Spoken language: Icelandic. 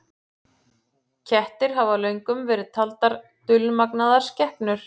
Kettir hafa löngum verið taldar dulmagnaðar skepnur.